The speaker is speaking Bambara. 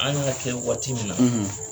An y'a kɛ waati min na